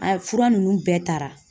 A fura nunnu bɛɛ taara.